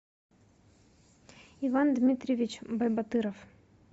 иван дмитриевич байбатыров